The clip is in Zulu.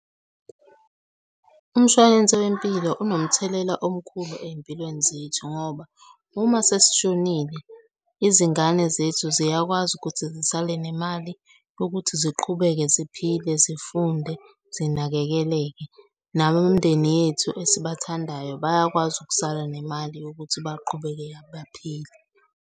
Umshwalense wempilo unomthelela omkhulu ey'mpilweni zethu ngoba uma sesishonile izingane zethu ziyakwazi ukuthi zisale nemali yokuthi ziqhubeke ziphile, zifunde, zinakekeleke. Nabomndeni yethu esibathandayo bayakwazi ukusala nemali yokuthi baqhubeke baphile.